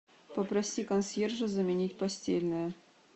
попроси консьержа заменить постельное